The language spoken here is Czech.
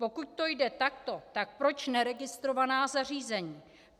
Pokud to jde takto, tak proč neregistrovaná zařízení?